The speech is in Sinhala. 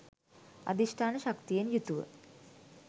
අධිෂ්ඨාන ශක්තියෙන් යුතුව